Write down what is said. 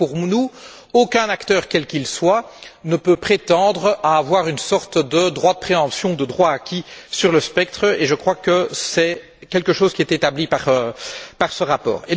Donc, pour nous, aucun acteur quel qu'il soit ne peut prétendre à avoir une sorte de droit de préemption, de droit acquis, sur le spectre, et je crois que c'est quelque chose qui est établi par ce rapport.